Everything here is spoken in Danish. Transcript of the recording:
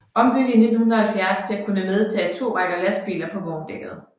Ombygget i 1970 til at kunne medtage to rækker lastbiler på vogndækket